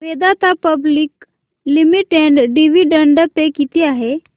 Vedanta public limited dividend pay किती आहे